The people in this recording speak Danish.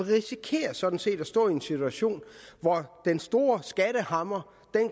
vi risikerer sådan set at stå i en situation hvor den store skattehammer